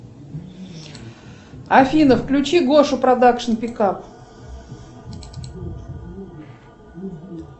афина включи гошу продакшн пикап